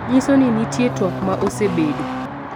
nyiso ni nitie twak ma osebedo